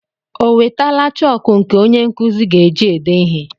O wetala chọọkụ nke onye nkụzi ga-eji ede ihe?